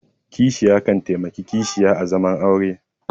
Kishiya kan taimaki kishiya a zaman aure